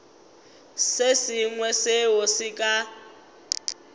se sengwe seo se ka